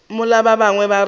mola ba bangwe ba re